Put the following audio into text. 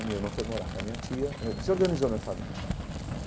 A minha irmã foi morar com a minha tia, aí desorganizou a minha família.